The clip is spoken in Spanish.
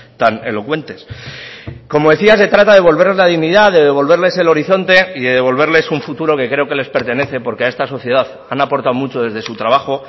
tan elocuentes como decía se trata de devolverles la dignidad de devolverles el horizonte y de devolverles un futuro que creo que les pertenece porque a esta sociedad han aportado mucho desde su trabajo